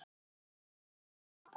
Við höfum engu að tapa.